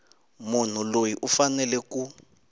munhu loyi u fanele ku